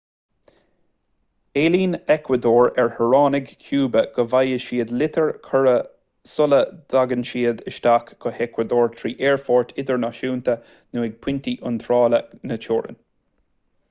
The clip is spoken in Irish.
éilíonn eacuadór ar shaoránaigh chúba go bhfaighidh siad litir chuiridh sula dtagann siad isteach go heacuadór trí aerfoirt idirnáisiúnta nó ag pointí iontrála na teorann